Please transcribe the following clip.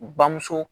Bamuso